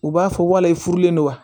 U b'a fɔ walayi furulen don wa